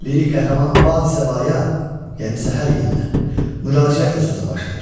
Lirik qəhrəman Badi-səbayə, yəni səhər yelinə, müraciətlə sözə başlayır.